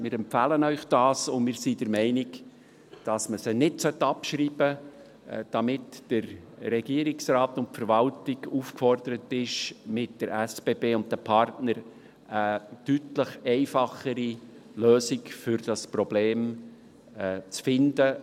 Wir empfehlen Ihnen das, und wir sind der Meinung, dass man sie nicht abschreiben soll, damit der Regierungsrat und die Verwaltung aufgefordert sind, mit der SBB und den Partnern eine deutlich einfachere Lösung für dieses Problem zu finden.